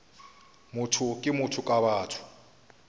motho ke motho ka batho